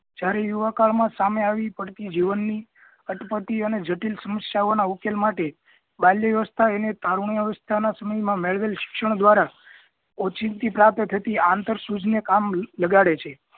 જ્યારે યુવા કાળ મા સામે આવી પડતી જીવન ની અટપટી અને જટિલ સમસ્યાઓ ના ઉકેલ માટે બાલ્યવસ્થા અને તરુણ વસ્થા ના સમય મા મેળવેલ શિક્ષણ દ્વારા ઓચિંતી પ્રાપ્ત થતી આંતર સૂઝ ને કામ લગાડે છે